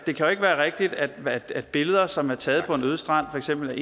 det kan jo ikke være rigtigt at billeder som er taget på en øde strand af for eksempel